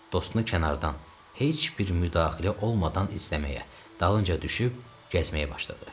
Dostunu kənardan heç bir müdaxilə olmadan izləməyə, dalınca düşüb gəzməyə başladı.